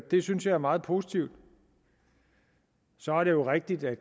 det synes jeg er meget positivt så er det jo rigtigt at